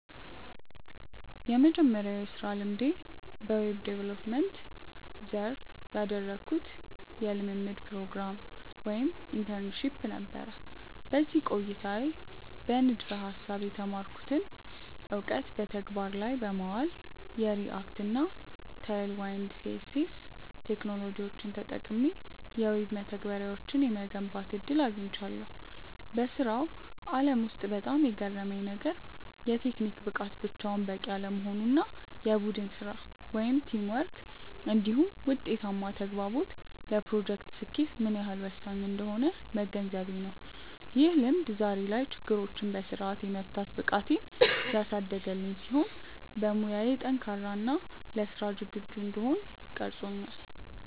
የመጀመሪያው የሥራ ልምዴ በዌብ ዲቨሎፕመንት (Web Development) ዘርፍ ያደረግኩት የልምምድ ፕሮግራም (Internship) ነበር። በዚህ ቆይታዬ በንድፈ-ሐሳብ የተማርኩትን እውቀት በተግባር ላይ በማዋል፣ የReact እና Tailwind CSS ቴክኖሎጂዎችን ተጠቅሜ የዌብ መተግበሪያዎችን የመገንባት ዕድል አግኝቻለሁ። በሥራው ዓለም ውስጥ በጣም የገረመኝ ነገር፣ የቴክኒክ ብቃት ብቻውን በቂ አለመሆኑ እና የቡድን ሥራ (Teamwork) እንዲሁም ውጤታማ ተግባቦት ለፕሮጀክቶች ስኬት ምን ያህል ወሳኝ እንደሆኑ መገንዘቤ ነው። ይህ ልምድ ዛሬ ላይ ችግሮችን በሥርዓት የመፍታት ብቃቴን ያሳደገልኝ ሲሆን፣ በሙያዬ ጠንካራ እና ለሥራ ዝግጁ እንድሆን ቀርጾኛል።